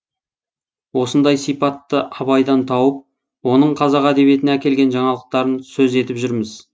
осындай сипатты абайдан тауып оның қазақ әдебиетіне әкелген жаңалықтарын сөз етіп жүрміз